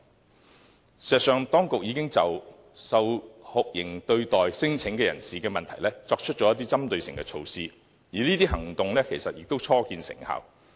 事實上，當局已經就受酷刑對待的聲請人士的問題作出一些針對性措施，而這些措施已初見成效。